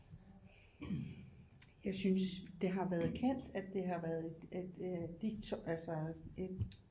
Jeg synes det har været kaldt at det har været et et altså et